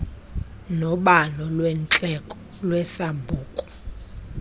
nobalo lweendleko lwesambuku